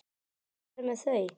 Hvað er með þau?